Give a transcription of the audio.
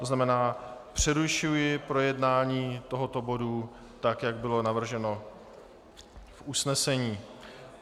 To znamená, přerušuji projednání tohoto bodu, tak jak bylo navrženo v usnesení.